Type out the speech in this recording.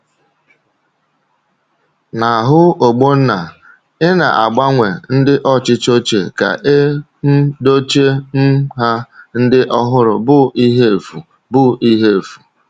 N’ahụ Ogbonna, ịna-agbanwe ndị ọchịchị ochie ka e um dochie um ha ndị ọhụrụ bụ ihe efu. bụ ihe efu.